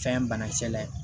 Fɛn banakisɛ la ye